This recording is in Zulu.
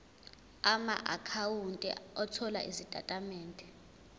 amaakhawunti othola izitatimende